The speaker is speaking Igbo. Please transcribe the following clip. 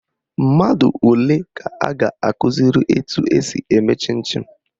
Mmadụ ole ka a ga-akụziri etu esi eme chịn chịn?